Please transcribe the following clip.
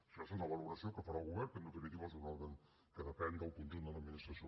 això és una valoració que farà el govern que en definitiva és un òrgan que depèn del conjunt de l’administració